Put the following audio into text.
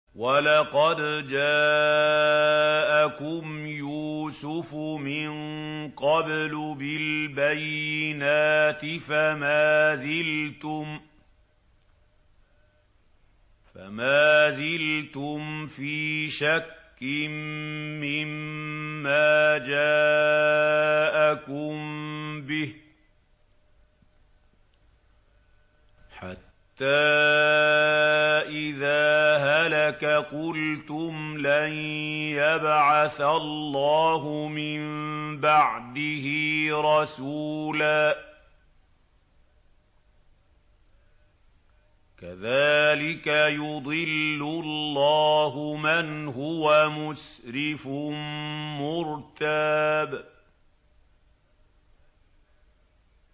وَلَقَدْ جَاءَكُمْ يُوسُفُ مِن قَبْلُ بِالْبَيِّنَاتِ فَمَا زِلْتُمْ فِي شَكٍّ مِّمَّا جَاءَكُم بِهِ ۖ حَتَّىٰ إِذَا هَلَكَ قُلْتُمْ لَن يَبْعَثَ اللَّهُ مِن بَعْدِهِ رَسُولًا ۚ كَذَٰلِكَ يُضِلُّ اللَّهُ مَنْ هُوَ مُسْرِفٌ مُّرْتَابٌ